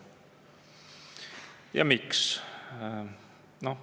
Ja miks?